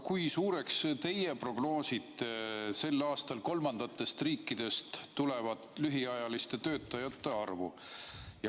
Kui suureks te prognoosite sel aastal kolmandatest riikidest tulevate lühiajaliste töötajate arvu?